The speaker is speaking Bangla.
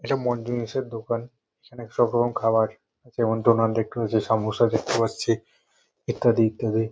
এটা মোনজিনিসের দোকান। এখানে সব রকম খাবার যেমন ডোনাট দেখতে পাচ্ছি সামোসা দেখতে পাচ্ছি ইত্যাদি ইত্যাদি।